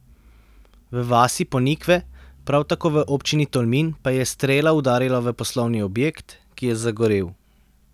V vasi Ponikve, prav tako v občini Tolmin, pa je strela udarila v poslovni objekt, ki je zagorel.